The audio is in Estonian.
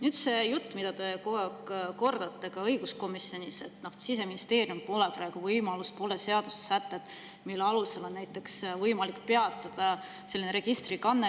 Nüüd see jutt, mida te kogu aeg kordate, ka õiguskomisjonis, et Siseministeeriumil pole praegu võimalust, pole seadusesätteid, mille alusel oleks võimalik peatada selline registrikanne.